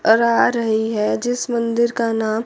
और आ रही है जीस मंदिर का नाम--